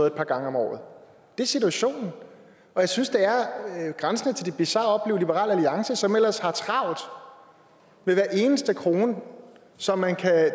et par gange om året det er situationen og jeg synes det er grænsende til det bizarre at opleve at liberal alliance som ellers har travlt med hver eneste krone som man kan